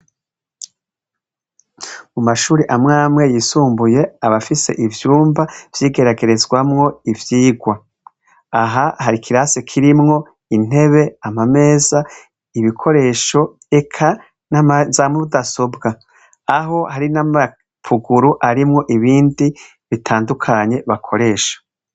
Mumashure amwamwe yisumbuye abafise ivyumba vyigeragezwamwo ivyirwa aha hari ikirase kirimwo intebe amameza ibikoresho eka namaza nudasobwa aho harimwo nama pukuru nibindi bitandukanye bakoresha